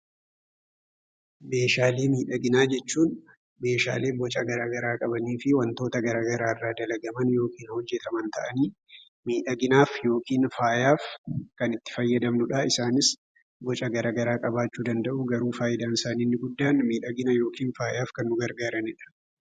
Meeshaalee miidhaginaa jechuun meeshaalee boca garagaraa qabaniifi wantoota garagaraa irraa dalagaman yookiin hojjjetaman ta'anii, miidhaginaaf yookiin faayaaf kan itti fayyadamnudha. Isaaniis boca garagaraa qabaachuu danda'u garuu faayidaan isaanii inni guddaan miidhagina yookiin faayaaf kan nugargaaranidha.